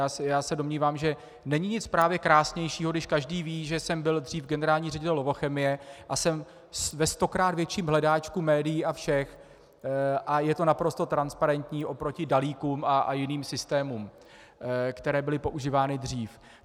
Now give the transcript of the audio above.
Já se domnívám, že není nic právě krásnějšího, když každý ví, že jsem byl dřív generální ředitel Lovochemie, a jsem ve stokrát větším hledáčku médií a všech a je to naprosto transparentní oproti Dalíkům a jiným systémům, které byly používány dřív.